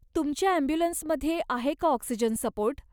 तुमच्या ॲम्ब्युलन्समध्ये आहे का ऑक्सिजन सपोर्ट?